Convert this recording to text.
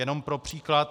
Jenom pro příklad.